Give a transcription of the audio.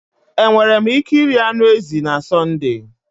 Enwere m ike iri anụ ezi na Sọnde?